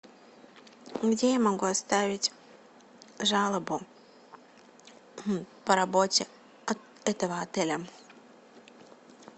где я могу оставить жалобу по работе этого отеля